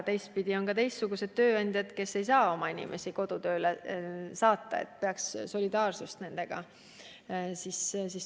Samas on ka teistsuguseid tööandjaid, kes lihtsalt ei saa oma inimesi kodutööle saata, ja me peaks ilmutama solidaarsust nendega.